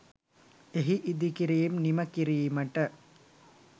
එහි ඉදිකිරීම් නිමකිරීමට